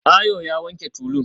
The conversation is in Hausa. Ayo ya wanke tulun